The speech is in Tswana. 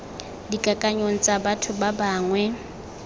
dikakanyong tsa batho ba bangwe